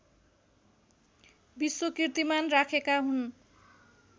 विश्वकीर्तिमान राखेका हुन्।